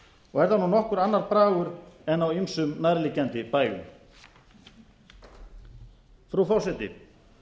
og er það nokkuð annar bragur en á ýmsum nærliggjandi bæjum frú forseti